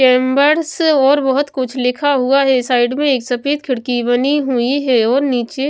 chambers और बहुत कुछ लिखा हुआ है साइड में एक सफेद खिड़की बनी हुई है और नीचे--